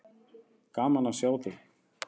Gaman að sjá þig.